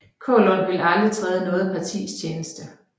Kaalund ville aldrig træde i noget partis tjeneste